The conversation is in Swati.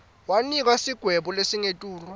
wanikwa sigwebo lesingetulu